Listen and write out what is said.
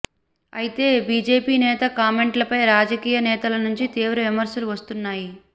అయితే బీజేపీ నేత కామెంట్లపై రాజకీయ నేతల నుంచి తీవ్ర విమర్శలు వస్తున్నాయ